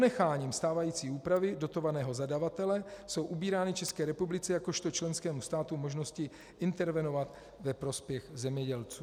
Ponecháním stávající úpravy dotovaného zadavatele jsou ubírány České republice jakožto členskému státu možnosti intervenovat ve prospěch zemědělců.